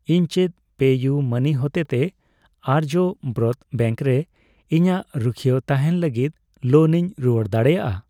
ᱤᱧ ᱪᱮᱫ ᱯᱮᱤᱭᱩᱢᱟᱹᱱᱤ ᱦᱚᱛᱮᱛᱮ ᱟᱨᱡᱚᱵᱨᱚᱛ ᱵᱮᱝᱠ ᱨᱮ ᱤᱧᱟᱜ ᱨᱩᱠᱷᱣᱟᱹ ᱛᱟᱦᱮᱸᱱ ᱞᱟᱹᱜᱤᱛ ᱞᱳᱱ ᱤᱧ ᱨᱩᱣᱟᱹᱲ ᱫᱟᱲᱮᱭᱟᱜᱼᱟ ?